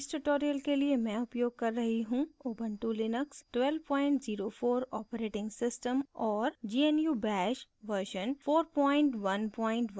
इस tutorial के लिए मैं उपयोग कर रही हूँ ऊबंटु लिनक्स 1204 operating system और gnu bash version 4110